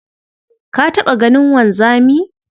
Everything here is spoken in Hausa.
Ka taɓa ganin wanzami?